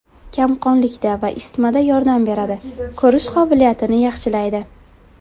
Kamqonlikda va isitmada yordam beradi, ko‘rish qobiliyatini yaxshilaydi.